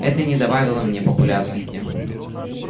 это не добавило мне популярности